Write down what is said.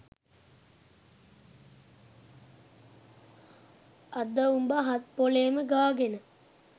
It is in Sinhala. අද උඹ හත් පොලේම ගාගෙන